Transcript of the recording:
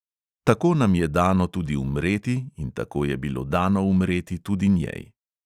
Tako nam je dano tudi umreti in tako je bilo dano umreti tudi njej.